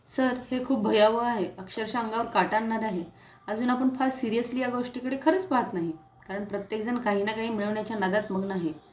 sir हे खूप भयावह आहे अक्षरशः अंगावर काटा आणणारं आहे अजून आपण फार सिरिअसली या गोष्टीकडे खरंच पहात नाही, कारण प्रत्येक जण काही ना काही मिळवण्याच्या नादात मग्न आहे